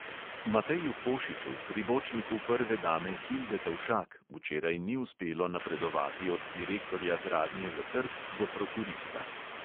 Mateju košiču, pribočniku prve dame hilde tovšak, včeraj ni uspelo napredovati od direktorja gradnje za trg do prokurista.